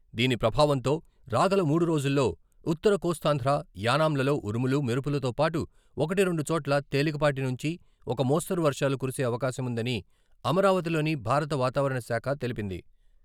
దీని ప్రభావంతో రాగల మూడు రోజుల్లో ఉత్తర కోస్తాంధ్ర, యానాంలలో ఉరుములు, మెరుపులతో పాటు ఒకటి, రెండు చోట్ల తేలిక పాటి నుంచి ఒక మోస్తరు వర్షాలు కురిసే అవకాశం ఉందని అమరావతిలోని భారత వాతావరణ శాఖ తెలిపింది.